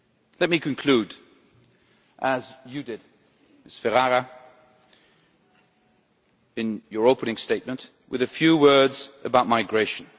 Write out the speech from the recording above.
Let me conclude as you did, Ms Ferrara, in your opening statement, with a few words about migration.